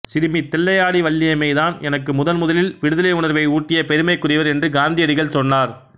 சிறுமி தில்லையாடி வள்ளியம்மை தான் எனக்கு முதன்முதலில் விடுதலை உணர்வை ஊட்டிய பெருமைக்குரியவர் என்று காந்தியடிகள் சொன்னார்